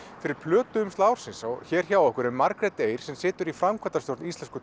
fyrir plötuumslag ársins og hér hjá okkur er Margrét Eir sem situr í framkvæmdastjórn Íslensku